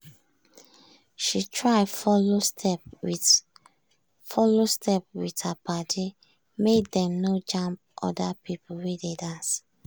she try follow step with follow step with her padi make dem no jam other people wey dey dance.